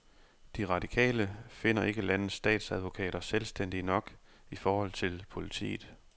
De radikale finder ikke landets statsadvokater selvstændige nok i forhold til politiet.